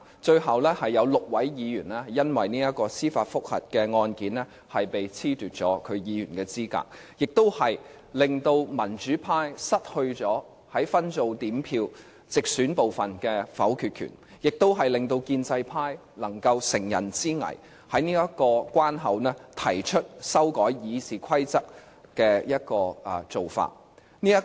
最後，有6位議員因為司法覆核案件而被褫奪議員資格，令民主派失去了分組點票直選部分的否決權，亦令建制派能夠乘人之危，在這個關口提出修改《議事規則》。